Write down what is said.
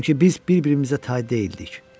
Çünki biz bir-birimizə tay deyildik.